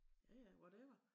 Ja ja whatever